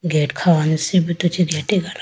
gate kha hone sibruto chee ategalapo.